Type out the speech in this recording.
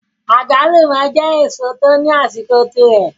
Agbalumo je eseo to ni asiko tire